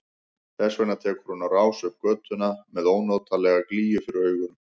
Þess vegna tekur hún á rás upp götuna með ónotalega glýju fyrir augunum.